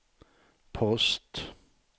post